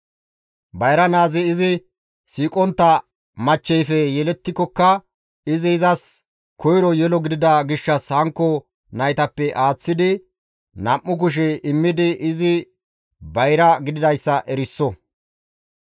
Bayra naazi izi siiqontta machcheyfe yelettikokka izi izas koyro yelo gidida gishshas hankko naytappe aaththidi nam7u kushe aaththi immidi izi bayra gididayssa eriso.